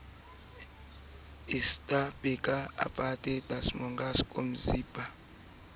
e sa le ke na